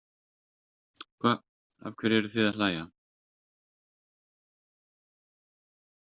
Hva, af hverju eruð þið að hlæja.